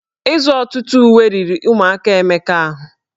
Ịzụ ọtụtụ ụwe riri ụmụaka Emeka ahụ